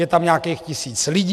Je tam nějakých tisíc lidí.